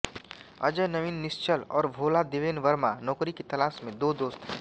अजय नवीन निश्चल और भोला देवेन वर्मा नौकरी की तलाश में दो दोस्त हैं